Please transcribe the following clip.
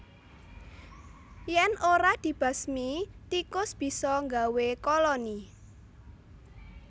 Yèn ora dibasmi tikus bisa nggawe koloni